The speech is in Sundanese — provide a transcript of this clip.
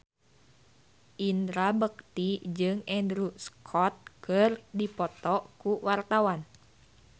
Indra Bekti jeung Andrew Scott keur dipoto ku wartawan